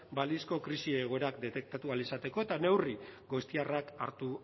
balizko krisi egoera detektatu ahal izateko eta neurri goiztiarrak hartu